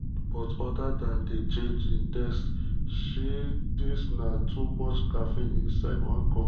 but other dan di change in taste shey dis na too much caffeine inside one cup?